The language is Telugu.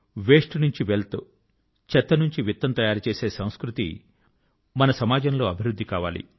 వేస్ట్ నుంచి వెల్త్ చెత్త నుంచి విత్తం తయారు చేసే సంస్కృతి మన సమాజం లో డెవలప్ కావాలి